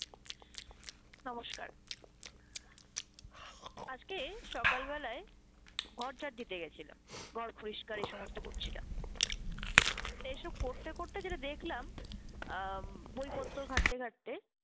নমস্কার, আজকে সকাল বেলায় ঘর ঝাড় দিতে গেছিলাম, ঘর পরিষ্কার এই সমস্ত করছিলাম, তা এসব করতে করতে যেটা দেখলাম আম বইপত্র ঘাটতে ঘাটতে